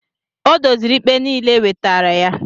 Ọ dozịrị ikpe niile e wetara ya